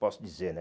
Posso dizer, né?